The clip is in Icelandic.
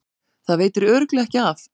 Það veitir örugglega ekki af.